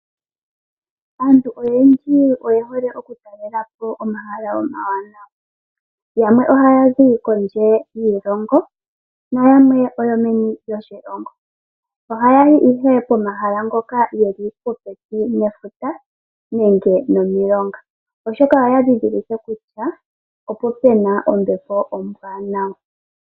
Aantu oyendji oye hole oku talelapo omahala omawanawa. Yamwe ohaya zi kondje yiilongo nayamwe oyo meni lyoshilongo. Oha yayi ihe pomahala ngoka geli popepi nefuta nenge nomilonga, oshoka oya dhidhilike kutya opo pena ombepo ombwaanawa.